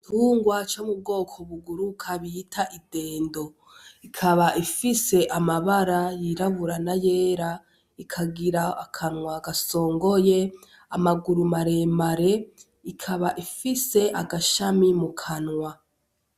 Igitungwa co mubwoko buguruka bita idendo. Ikaba ifise amabara yirabura n'ayera, ikagira akanwa gasongoye, amaguru maremare. Ikaba ifise agashami mukanwa.